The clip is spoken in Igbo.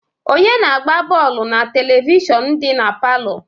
Onye na-agba bọọlụ na televishọnu dị na palọ?